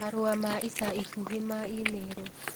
Marũa ma ica ikuhĩ ma i-mīrū